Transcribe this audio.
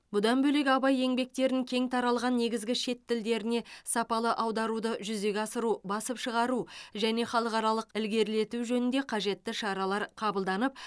бұдан бөлек абай еңбектерін кең таралған негізгі шет тілдеріне сапалы аударуды жүзеге асыру басып шығару және халықаралық ілгерілету жөнінде қажетті шаралар қабылданып